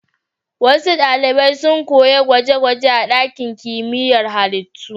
Wasu ɗalibai sun koyi gwaje-gwaje a ɗakin kimiyyar halittu.